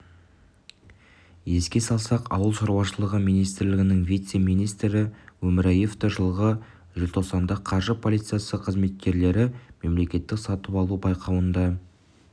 еске салсақ ауыл шаруашылығы министрлігінің вице-министрі өмірияевті жылғы желтоқсанда қаржы полициясы қызметкерлері мемлекеттік сатып алу байқауында